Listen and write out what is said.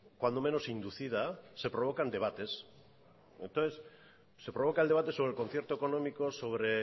cuando menos inducida se provocan debates entonces se provoca el debate sobre el concierto económico sobre